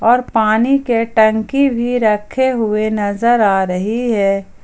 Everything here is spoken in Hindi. और पानी के टंकी भी रखे हुए नजर आ रही है।